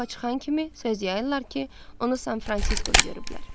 Biri yoxa çıxan kimi söz yayırlar ki, onu San Fransiskoda görüblər.